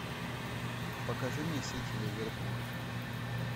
покажи мне сити ливерпуль